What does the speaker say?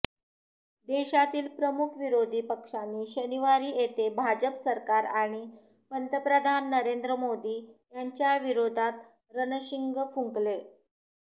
देशातील प्रमुख विरोधी पक्षांनी शनिवारी येथे भाजप सरकार आणि पंतप्रधान नरेंद्र मोदी यांच्याविरोधात रणशिंग फुंकले